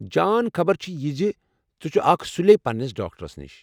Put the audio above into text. جان خبر چھِ یہ زِ ژٕ چُھ آکھ سُلی پننِس ڈاکٹرَس نِش۔